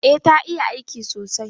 Eh ta iya aiki sosai.